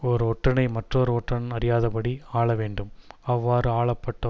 ஓர் ஒற்றனை மற்றோர் ஒற்றன் அறியாதபடி ஆள வேண்டும் அவ்வாறு ஆளப்பட்ட